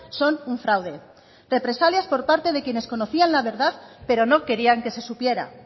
son un fraude represalias por parte de quienes conocían la verdad pero no querían que se supiera